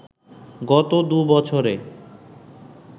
গত দু বছরে